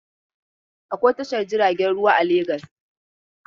Akwai tashar jiragen ruwa a Legas.